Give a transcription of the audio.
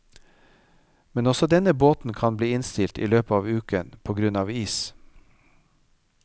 Men også denne båten kan bli innstilt i løpet av uken på grunn av is.